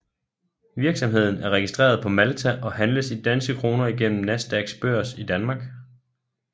Virksomheden er registreret på Malta og handles i danske kroner igennem Nasdaqs børs i Danmark